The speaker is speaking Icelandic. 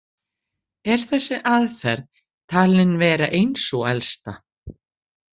Er þessi aðferð talin vera ein sú elsta.